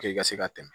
i ka se ka tɛmɛ